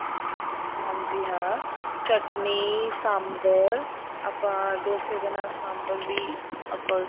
ਹਾਂਜੀ ਹਾਂ ਚਟਨੀ ਸਾਂਬਰ ਆਪਾਂ ਡੋਸੇ ਦੇ ਨਾਲ ਸਾਂਬਰ ਵੀ ਆਪਾਂ